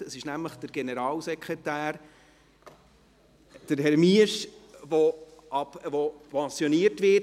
Es ist nämlich der Generalsekretär, Herr Miesch, der pensioniert wird.